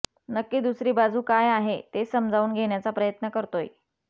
नक्की दुसरी बाजू काय आहे ते समजावून घेण्याचा प्रयत्न करतोय